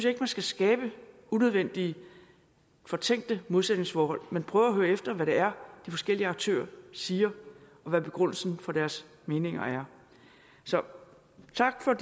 ikke man skal skabe unødvendige fortænkte modsætningsforhold men prøve at høre efter hvad det er de forskellige aktører siger og hvad begrundelsen for deres meninger er så tak for